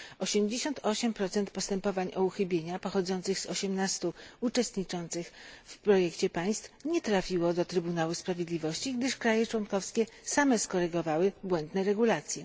88 postępowań o uchybienia pochodzących z 18 państw uczestniczących w projekcie nie trafiło do Trybunału Sprawiedliwości, gdyż państwa członkowskie same skorygowały błędne regulacje.